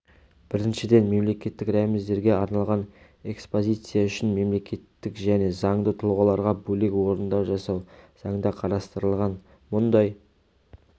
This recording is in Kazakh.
біріншіден мемлекеттік рәміздерге арналған экспозиция үшін мемлекеттік және заңды тұлғаларға бөлек орындар жасау заңда қарастырылған мұндай